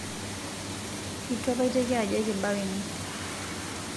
etu apa eiteki ajo ekibau ene